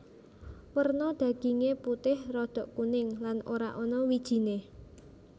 Werna daginge putih rada kuning lan ora ana wijine